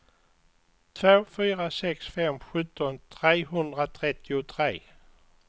två fyra sex fem sjutton trehundratrettiotre